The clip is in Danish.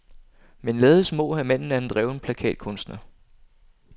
Men lades må, at manden er en dreven plakatkunstner.